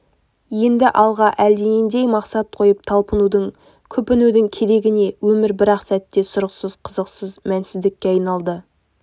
енді алға әлденендей мақсат қойып талпынудың күпінудің керегі не өмір бір-ақ сәтте сұрықсыз қызықсыз мәнсіздікке айналды